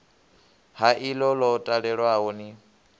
ha iḽo ḽo talelwaho ni